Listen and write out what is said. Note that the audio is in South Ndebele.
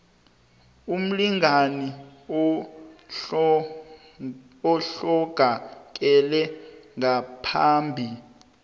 umlingani ohlongakele ngaphambi